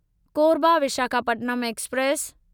Korba Visakhapatnam express